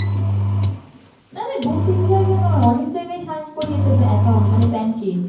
নারে দু তিন জায়গায় নয় অনেক জায়গায় sign করিয়েছে মানে bank এ